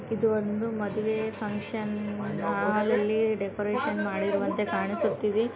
ಇದು ಒಂದು ಮದುವೆ ಫಂಕ್ಷನ ಹಾಲ್ ಅಲ್ಲಿ ಡೆಕೋರೇಷನ್ ಮಾಡಿರುವಂತೆ ಕಾಣಿಸುತ್ತಿದೆ.